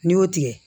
N'i y'o tigɛ